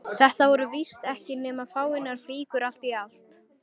Þetta voru víst ekki nema fáeinar flíkur allt í allt.